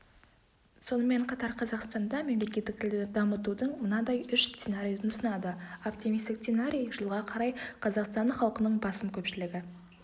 сонымен қатар қазақстанда мемлекеттік тілді дамытудың мынадай үш сценарийін ұсынады оптимистік сценарий жылға қарай қазақстан халқының басым көпшілігі